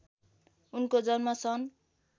उनको जन्म सन्